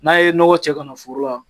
N'a ye nɔgɔ cɛ ka na foro la